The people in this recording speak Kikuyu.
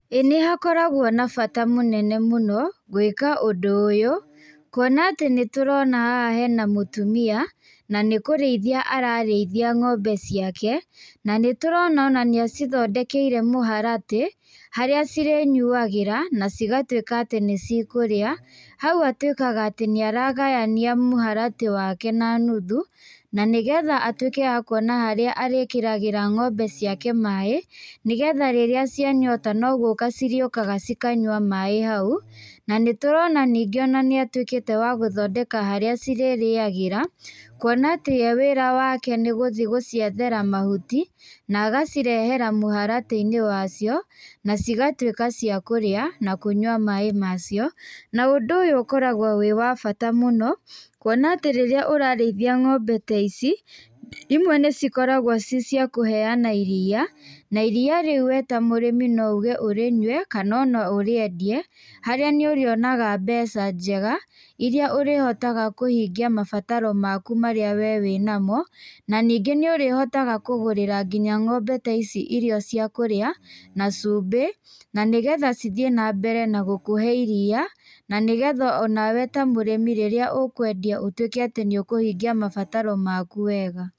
ĩĩ nĩ hakoragwo na bata mũnene mũno gwĩka ũndũ ũyũ, kuona atĩ nĩ tũrona haha hena mũtumia. Na nĩ kũrĩithia ararĩithia ng'ombe ciake. Na nĩ tũrona ona nĩ acithondekeire mũharatĩ harĩa irĩnyuagĩra na cigatuika atĩ nĩ cikũrĩa. Hau atuĩkaga atĩ nĩ aragayania mũharatĩ wake na nuthu, na nĩ getha atuĩke wa kuona harĩa arĩkĩragĩra ng'ombe cike maĩ, nĩgetha rĩrĩa cia nyota no gũka cirĩũkaga cikanyua maĩ hau. Na nĩtũrona ningĩ ona nĩatuĩkĩte wa gũthondeka harĩa cirĩrĩgĩra. Kuona atĩ we wĩra wake nĩgũthii guciethera mahuti, na agacirehera mũharatĩ-inĩ wacio, na cigatuĩka cia kũrĩa na kũnyua maĩ macio. Na ũndũ ũyũ ũkoragwo wĩ wa bata mũno kuona atĩ rĩrĩa ũrarĩithi ng'ombe ta ici, imwe nĩ ikoraagwo cirĩ cia kũheana iria. Na iria rĩu we ta murĩmi no uge ũrĩnyue kana ona ũrĩendie harĩa nĩ ũrĩonaga mbeca njega, iria ũrĩhotaga kũhingia mabataro maku marĩa we wĩ na mo. Na ningĩ nĩ ũrĩhotaga kũgũrĩra nginya ng'ombe ta ici irio cia kũrĩa, na cumbĩ, na nĩ getha cithiĩ na mbere na gũkũhe iria. Na nĩ getha onawe ta mũrĩmi rĩrĩa ukwendia ũtuĩke atĩ nĩ ukũhingia mabataro maku wega.